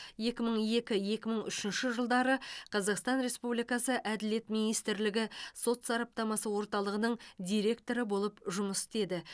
екі мың екі екі мың үшінші жылдары қазақстан республикасы әділет министрлігі сот сараптамасы орталығының директоры болып жұмыс істеді